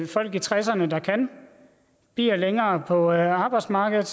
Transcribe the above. folk i tresserne der kan bliver længere på arbejdsmarkedet